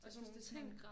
Og sådan nogle ting